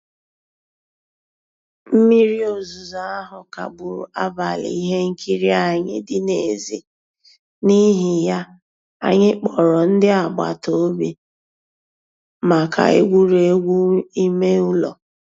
Mmírí òzùzó ahụ́ kagbùrù àbálị́ ihe nkírí ànyị́ dị́ n'èzí, n'ihí ya, ànyị́ kpọ̀rọ́ ndí àgbàtà òbì maka ègwùrègwù ímé ụ́lọ́.